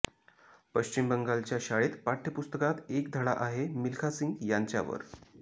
पश्चिम बंगालच्या शाळेत पाठ्यपुस्तकात एक धडा आहे मिल्खा सिंग यांच्यावर